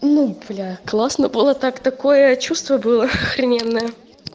ну бля классно было так такое чувство было охрененное